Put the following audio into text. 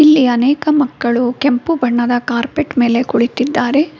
ಇಲ್ಲಿ ಅನೇಕ ಮಕ್ಕಳು ಕೆಂಪು ಬಣ್ಣದ ಕಾರ್ಪೆಟ್ ಮೇಲೆ ಕುಳಿತಿದ್ದಾರೆ.